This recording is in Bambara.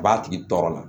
A b'a tigi tɔɔrɔ la